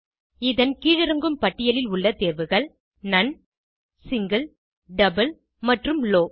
இதன் கீழிறங்கும் பட்டியலில் உள்ள தேர்வுகள் நோன் சிங்கில் டபிள் மற்றும் லோவ்